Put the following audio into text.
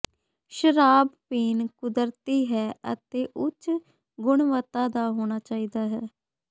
ਸ਼ਰਾਬ ਪੀਣ ਕੁਦਰਤੀ ਹੈ ਅਤੇ ਉੱਚ ਗੁਣਵੱਤਾ ਦਾ ਹੋਣਾ ਚਾਹੀਦਾ ਹੈ